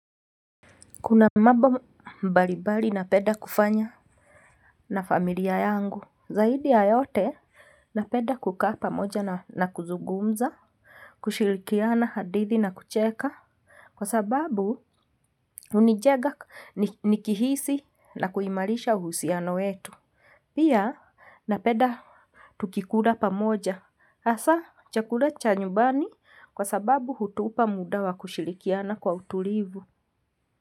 Kuna mambo mbalimbali napenda kufanya na familia yangu, zaidi ya yote napenda kukaa pamoja na kuzungumza. Kushirikiana hadithi na kucheka. Kwa sababu hunijenga nikihisi na kuimarisha uhusiano wetu. Pia napenda tukikula pamoja hasa chakula cha nyumbani kwa sababu hutupa muda wa kushirikiana kwa utulivu.